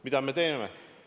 Mida me teeme?